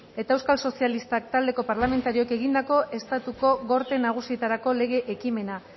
eta euskal sozialistak talde parlamentarioek egindako estatuko gorte nagusietarako lege ekimena